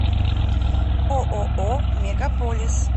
ооо мегаполис